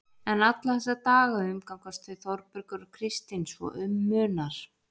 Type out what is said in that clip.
En alla þessa daga umgangast þau Þórbergur og Kristín svo um munar.